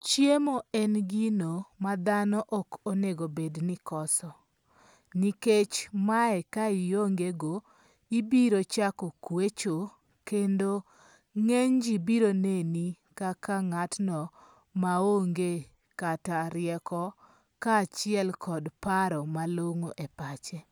Chiemo en gino ma thano ok onego bed ni koso, nikech mae kaiongego ibirochako kwecho kendo nge'ny ji biro neni kaka nga'tno maonge kata rieko kachiel kod paro malongo' e pache,